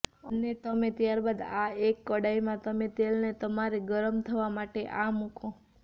અને તમે ત્યારબાદ આ એક કડાઈમા તમે તેલને તમારે ગરમ થવા માટે આ મુકો